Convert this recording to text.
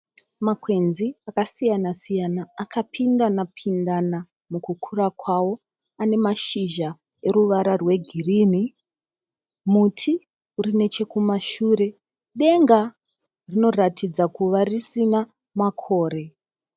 Makwenzi akasiyanasiyana akapindanapindana mukukura kwawo. Ane mashizha oruvara rwegirini. Muti uri nechokumashure. Denga rinoratidza kuva risina makore.